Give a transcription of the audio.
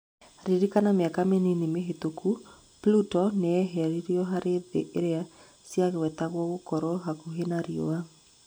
ririkana mĩaka mĩnini mĩhĩtũku Pluto nĩyeheririo harĩ thĩ iria ciagwetetwo gũkorwo hakuhĩ na riũa